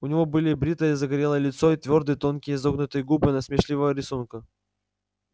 у него было бритое загорелое лицо и твёрдые тонкие изогнутые губы насмешливого рисунка